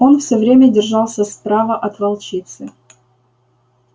он всё время держался справа от волчицы